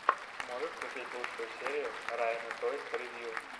можешь включить лучшую серию райана тойс ревью